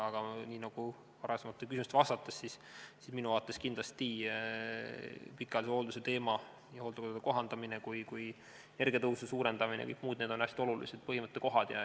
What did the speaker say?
Aga nii nagu varasematele küsimustele vastates ütlesin, minu vaates kindlasti pikaajalise hoolduse teema ja hooldekodude kohaldamine, samuti energiatõhususe suurendamine jms – need on hästi olulised põhimõttekohad.